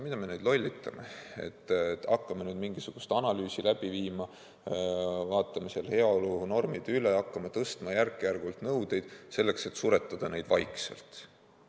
Mida me lollitame, et hakkame nüüd mingisugust analüüsi läbi viima, vaatame heaolunormid üle ja hakkame järk-järgult nõudeid karmistama, selleks et tootmine vaikselt välja suretada.